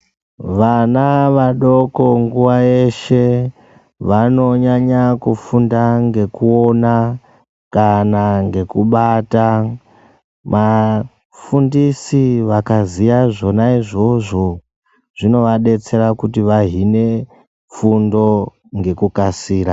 Vana vadoko nguwa yeshe vanonyanya kufunda ngekuona kana ngekubata, vafundisi vakaziya zvona izvozvo zvinovadetsere kuti vahine fundo ngekukasira.